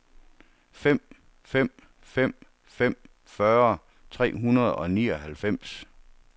fem fem fem fem fyrre tre hundrede og nioghalvfems